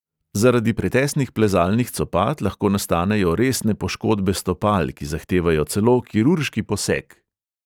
Zaradi pretesnih plezalnih copat lahko nastanejo resne poškodbe stopal, ki zahtevajo celo kirurški poseg.